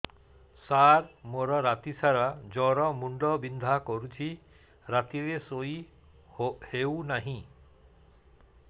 ସାର ମୋର ରାତି ସାରା ଜ୍ଵର ମୁଣ୍ଡ ବିନ୍ଧା କରୁଛି ରାତିରେ ଶୋଇ ହେଉ ନାହିଁ